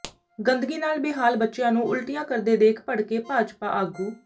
ਗੰਦਗੀ ਨਾਲ ਬੇਹਾਲ ਬੱਚਿਆਂ ਨੂੰ ਉਲਟੀਆਂ ਕਰਦੇ ਦੇਖ ਭੜਕੇ ਭਾਜਪਾ ਆਗੂ